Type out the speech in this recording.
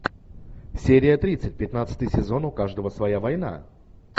серия тридцать пятнадцатый сезон у каждого своя война